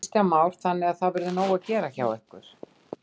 Kristján Már: Þannig að það verður nóg að gera hjá ykkur?